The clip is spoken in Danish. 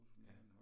Ja